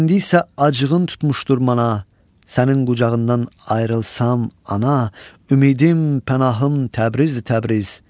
İndi isə acığın tutmuşdur mana, sənin qucağından ayrılsam, ana, ümidim pənahım Təbriz, Təbriz.